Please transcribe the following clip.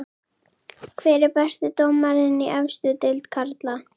Hver er besti dómarinn í efstu deild karla?